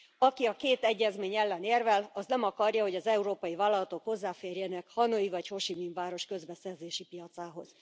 Aki a két egyezmény ellen érvel, az nem akarja, hogy az európai vállalatok hozzáférjenek, Hanoi vagy Ho Si Minh város közbeszerzési piacához.